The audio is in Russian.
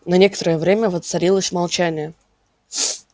на некоторое время воцарилось молчание